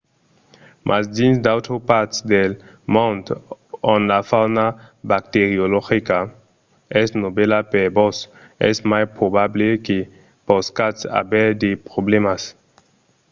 mas dins d'autras parts del mond ont la fauna bacteriologica es novèla per vos es mai probable que poscatz aver de problèmas